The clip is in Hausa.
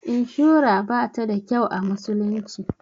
Inshura bata da kyau a musulunci.